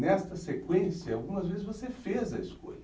Nesta sequência, algumas vezes você fez a escolha.